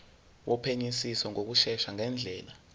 wophenyisiso ngokushesha ngendlela